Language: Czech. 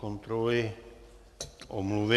Kontroluji omluvy.